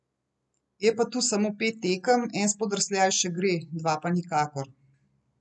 Je pa tu samo pet tekem, en spodrsljaj še gre, dva pa nikakor.